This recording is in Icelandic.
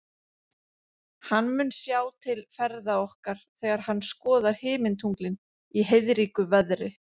Hann mun sjá til ferða okkar þegar hann skoðar himintunglin í heiðríku veðri.